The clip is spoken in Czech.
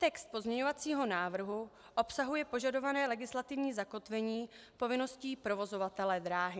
Text pozměňovacího návrhu obsahuje požadované legislativní zakotvení povinností provozovatele dráhy.